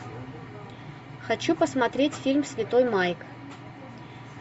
хочу посмотреть фильм святой майк